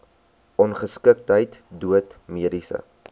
ongeskiktheid dood mediese